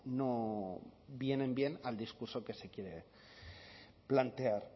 no vienen bien al discurso que se quiere plantear